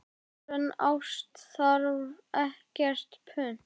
Sönn ást þarf ekkert punt.